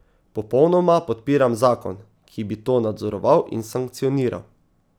Popolnoma podpiram zakon, ki bi to nadzoroval in sankcioniral.